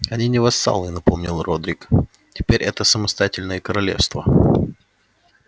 они не вассалы напомнил родрик теперь это самостоятельные королевства